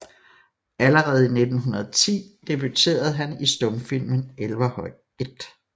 Allerede i 1910 debuterede han i stumfilmen Elverhøj I